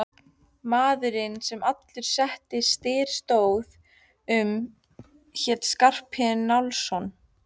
Maðurinn sem allur þessi styr stóð um hét Skarphéðinn Njálsson.